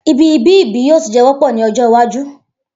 Ibi ibi-ibi yoo tun jẹ wọpọ ni ojo iwaju